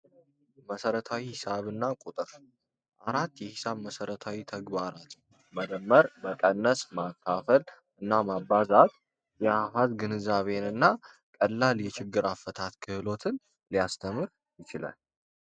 መሠረታዊ ሒሳብና ቁጥር 4 የሒሳብ መሰረታዊ ተግባራት መደመር፣ መቀነስ፣ ማካፈል እና ማባዛት የአሃዝ ግንዛቤንና ቀላል የችግር አፈታት ክህሎትን ሊያስተምር ይችላል።